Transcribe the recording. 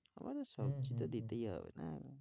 আমাদের সবজি তো দিতেই হবে, হ্যাঁ